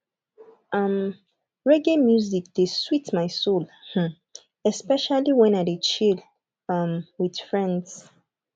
um reggae music dey sweet my soul um especially wen i dey chill um with friends